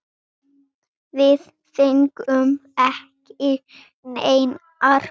Við fengum ekki neinar gæsir.